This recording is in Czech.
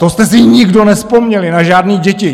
To jste si nikdo nevzpomněli na žádný děti!